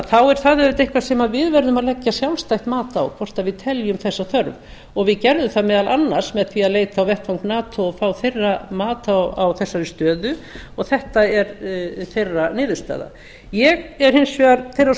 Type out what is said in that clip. þá er það auðvitað eitthvað sem við verðum að leggja sjálfstætt mat á hvort við teljum þessa þörf og við gerðum það meðal annars með því að leita á vettvang nato og fá þeirra mat á þessari stöðu og þetta er þeirra niðurstaða ég er hins vegar þeirrar